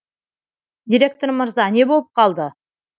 директор мырза не болып қалды